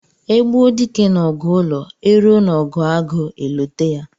E gbuo dike n'ọgụ ụlọ, e ruo n'ọgụ agụ e lote ya.